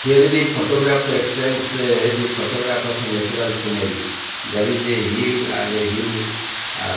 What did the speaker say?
here is the photograph explains a the photograph of a natural scenery there is a hill and a hill --